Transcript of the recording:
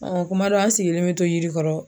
kuma dɔ an sigilen me to yiri kɔrɔ